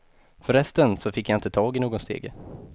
För resten så fick jag inte tag i nån stege.